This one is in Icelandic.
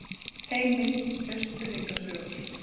Heimild: Austfirðinga sögur.